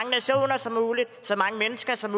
mål og så mange mennesker som